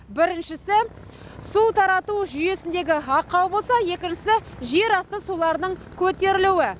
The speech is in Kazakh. біріншісі су тарату жүйесіндегі ақау болса екіншісі жерасты суларының көтерілуі